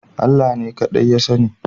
Allah ne kaɗai ya sani